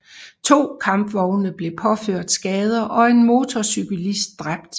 To kampvogne blev påført skader og en motorcyklist dræbt